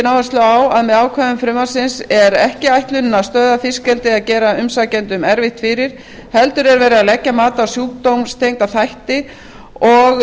áherslu á að með ákvæðum frumvarpsins er ekki ætlunin að stöðva fiskeldi eða gera umsækjendum erfitt fyrir heldur er verið að leggja mat á sjúkdómstengda þætti og